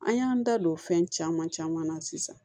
An y'an da don fɛn caman caman na sisan